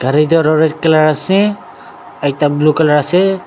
aru ekta toh red colour ase ekta blue colour ase.